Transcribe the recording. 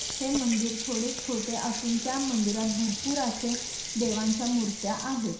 हे मंदिर थोडे छोटे असुन त्या मंदिरात भरपुर असे देवांच्या मुर्त्या आहेत.